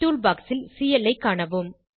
tool box ல் CL ஐ காணவும்